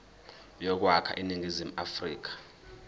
yokwakha iningizimu afrika